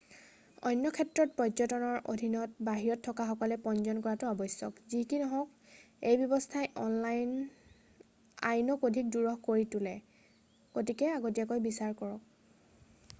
অন্য ক্ষেত্ৰত পৰ্যটনৰ অধীনত বাহিৰত থকাসকলে পঞ্জীয়ন কৰাটো আৱ্শ্যক যি কি নহওক এই ব্যৱস্থাই আইনক অধিক দুৰূহ কৰি তোলে গতিকে আগতিয়াকৈ বিচাৰক